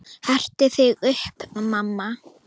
Hertu þig upp, mamma.